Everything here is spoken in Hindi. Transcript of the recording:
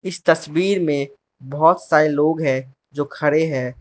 इस तस्वीर में बहोत सारे लोग हैं जो खड़े हैं।